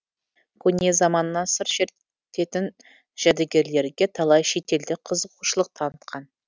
көне заманнан сыр шерте тін жәдігерлерге талай шетелдік қызығушылық танытқан